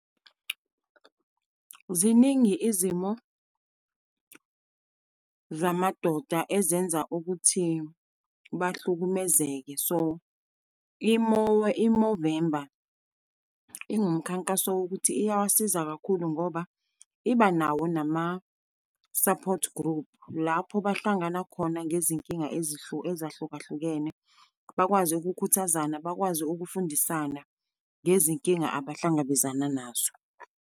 Ziningi izimo zamadoda ezenza ukuthi bahlukumezeke. So, i-Movember ingumkhankaso wokuthi iyawasiza kakhulu ngoba iba nawo nama-support group. Lapho bahlangana khona ngezinkinga ezahlukahlukene, bakwazi ukukhuthazana, bakwazi ukufundisana ngezinkinga abahlangabezana nazo.